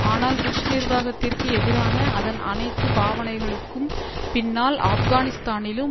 ஆனால் புஷ் நிர்வாகத்திற்கு எதிரான அதன் அனைத்து பாவனைகளுக்கும் பின்னால் ஆப்கனிஸ்தானிலும்